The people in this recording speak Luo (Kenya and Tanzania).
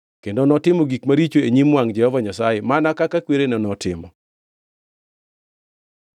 Kendo notimo gik maricho e nyim wangʼ Jehova Nyasaye, mana kaka kwerene notimo.